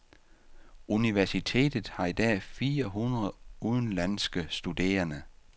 Universitetet har i dag fire hundrede udenlandske studerende.